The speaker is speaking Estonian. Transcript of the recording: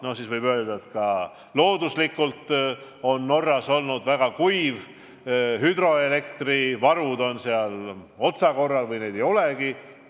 Näiteks öelda, et vahel on Norras olnud väga kuiv aeg, hüdroenergia varud on ehk otsakorral või neid ei olegi.